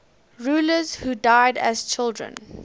rulers who died as children